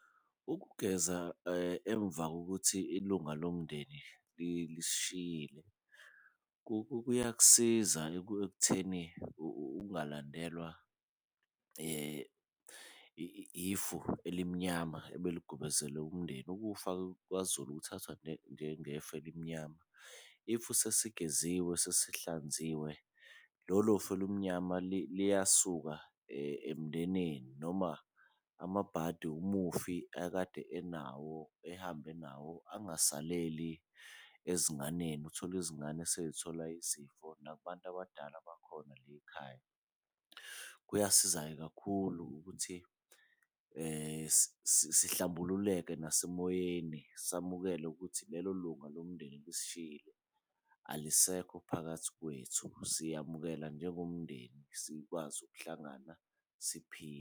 Ukugeza emva kokuthi ilunga lomndeni lisishiyile, kuyakusiza ekutheni ungalandelwa ifu elimnyama ebeligubezele umndeni, ukufa-ke kwaZulu kuthathwa njengefu elimnyama. If sesigeziwe sesihlanziwe lolo fu olumnyama liyasuka emndenini noma amabhadi umufi akade enawo ehambe nawo, angasaleli ezinganeni uthole izingane seyithola izifo nakubantu abadala bakhona la ekhaya. Kuyasiza-ke kakhulu ukuthi sihlambululeke nasemoyeni, samukele ukuthi lelo lunga lomndeni lisishiyile, alisekho phakathi kwethu siyawamukela njengomndeni sikwazi ukuhlangana siphile.